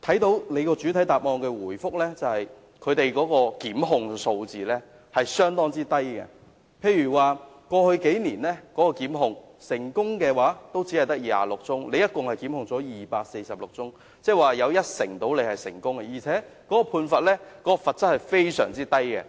局長在主體答覆列出的檢控數字相當低，過去數年檢控個案有246宗，但成功檢控的只有26宗，即大約一成，而且罰則非常低。